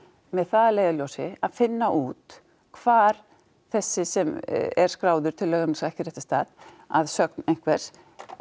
með það að leiðarljósi að finna út hvar þessi sem er skráður til lögheimilis á ekki réttum stað að sögn einhvers